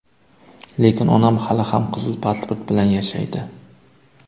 Lekin onam hali ham qizil pasport bilan yashaydi.